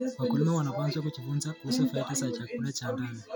Wakulima wanapaswa kujifunza kuhusu faida za chakula cha ndani.